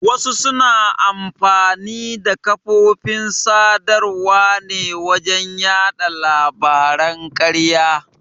Wasu suna amfani da kafofin sadarwa ne wajen yaɗa labaran ƙarya.